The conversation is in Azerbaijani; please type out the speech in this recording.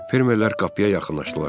Fermerlər qapıya yaxınlaşdılar.